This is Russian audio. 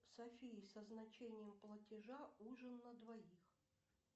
софия со значением платежа ужин на двоих